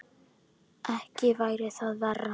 Ekki væri það verra!